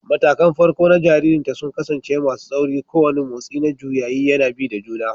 Matakan farko na jaririnta sun kasance masu tsauri, kowane motsi na juyayi yana bi da juna